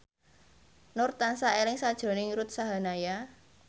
Nur tansah eling sakjroning Ruth Sahanaya